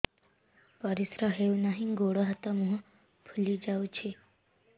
ପରିସ୍ରା ହଉ ନାହିଁ ଗୋଡ଼ ହାତ ମୁହଁ ଫୁଲି ଯାଉଛି